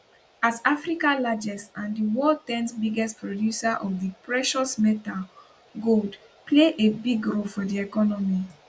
as africa largest and di world 10th biggest producer of di precious metal gold play a big role for di economy